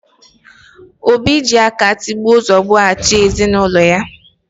Obi ji aka tigbo zugbo, achị ezinaụlọ ya